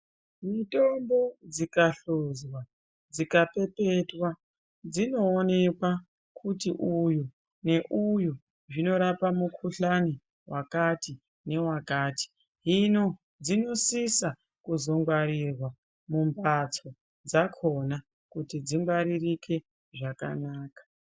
Mitombo dzikahluzwa dzikapepetwa dzinoonekwa kuti uyu neuyu zvinorapa mukhuhlani wamati newakati hino dzinosisa kuzongwarirwa mumhatso dzakhona kuti dzingwaririke zvakanaka.